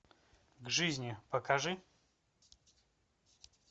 к жизни покажи